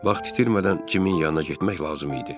Vaxt itirmədən Cimin yanına getmək lazım idi.